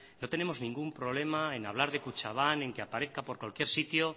no tenemos ningún problema en hablar de kutxabank en que aparezca por cualquier sitio